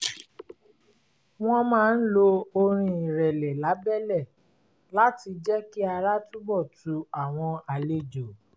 wọ́n máa ń lo orin ìrẹ̀lẹ̀ lábẹ́lẹ̀ láti jẹ́ kí ara túnbọ̀ tu àwọn àlejò